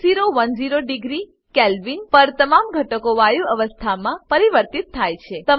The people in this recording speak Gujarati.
6010 ડિગ્રી કેલ્વિન છ હજાર દસ પર તમામ ઘટકો વાયુ અવસ્થામાં પરિવર્તિત થાય છે